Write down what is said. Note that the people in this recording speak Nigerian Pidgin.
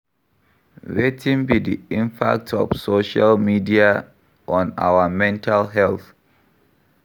Wetin be di impact of social media on our mental health?